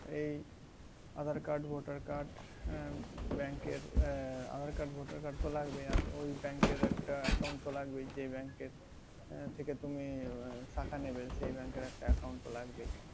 এই aadhaar card voter cardbank এর aadhaar card voter card তো লাগবেই আর ওই bank এর তো একটা account তো লাগবেই যে bank এর থেকে তুমি টাকা নেবে সেই bank এর একটা account তো লাগবেই